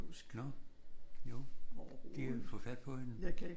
Nå. Jo. De havde fået fat på hende